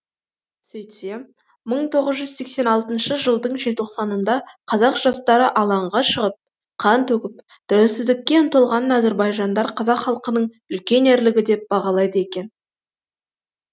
сөйтсем мың тоғыз жүз сексен алтыншы жылдың желтоқсанында қазақ жастары алаңға шығып қан төгіп тәуелсіздікке ұмтылғанын әзірбайжандар қазақ халқының үлкен ерлігі деп бағалайды екен